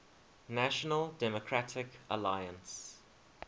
national democratic alliance